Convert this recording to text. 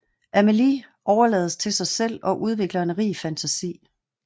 Amélie overlades til sig selv og udvikler en rig fantasi